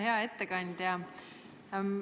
Hea ettekandja!